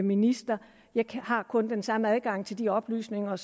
minister jeg har kun den samme adgang til de oplysninger